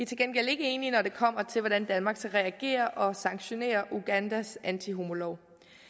til gengæld ikke enige når det kommer til hvordan danmark skal reagere og sanktionere ugandas antihomolov